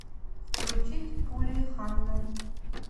включить пули ханны